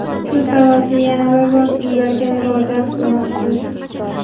Shu sababli yana bir bor sizlarga murojaat qilmoqchimiz.